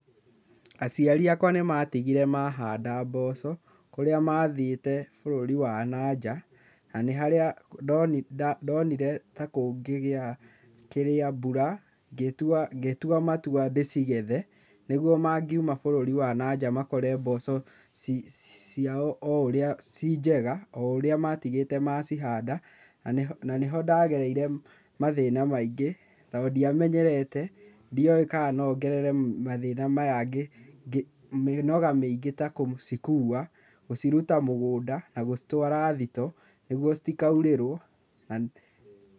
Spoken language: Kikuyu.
Aciari akwa nĩ matigire mahanda mboco, kũrĩa mathiĩte bũrũri wa nanja na harĩa ndonire ta kũngĩgĩa kĩrĩa, mbura, ngĩtua matua ndĩcigethe nĩguo mangiuma bũrũri wa na nja makore mboco ciao ci njega o ũrĩa matigĩte macihanda, na nĩho ndagereire mathĩna maingĩ tondũ ndiamenyerete, ndio kana no ngerere mathĩna maya, mĩnoga mĩingĩ ta gũcikua gũciruta mũgũnda na gũtwara thito nĩguo citakaurĩrwo